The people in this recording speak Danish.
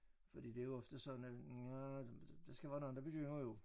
Fordi det jo ofte sådan at nja der skal være nogle der begynder jo